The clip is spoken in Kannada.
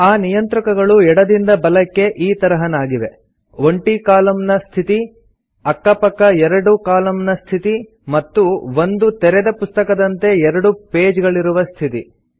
ಆ ನಿಯಂತ್ರಕಗಳು ಎಡದಿಂದ ಬಲಕ್ಕೆ ಈ ತರಹನಾಗಿವೆ ಒಂಟಿ ಕಾಲಮ್ ನ ಸ್ಥಿತಿ ಸಿಂಗಲ್ ಕಾಲಮ್ ಮೋಡ್ ಅಕ್ಕ ಪಕ್ಕ ಎರಡು ಕಾಲಮ್ ನ ಸ್ಥಿತಿ ಮತ್ತು ಒಂದು ತೆರೆದ ಪುಸ್ತಕದಂತೆ ಎರಡು ಪೇಜ್ ಗಳಿರುವ ಸ್ಥಿತಿ